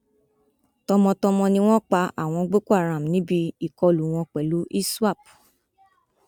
tọmọtọmọ ni wọn pa àwọn boko haram níbi ìkọlù wọn pẹlú iswap